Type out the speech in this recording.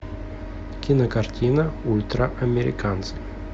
кинокартина ультраамериканцы